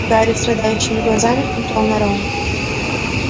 гарри страдающими глазами смотрел на рона